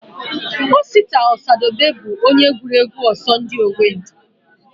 Osita Osadebe bụ onye gụrụ egwu Ọsọndị Owendị